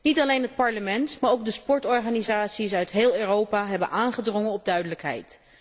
Niet alleen het Parlement, maar ook de sportorganisaties uit heel Europa hebben aangedrongen op duidelijkheid.